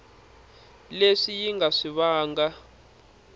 leswi yi nga swi vangaka